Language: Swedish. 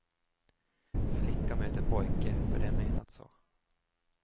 Flicka möter pojke för att det är menat så.